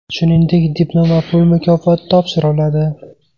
Shuningdek, diplom va pul mukofoti topshiriladi.